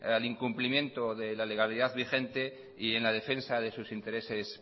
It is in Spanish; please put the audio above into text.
al incumplimiento de la legalidad vigente y en la defensa de sus intereses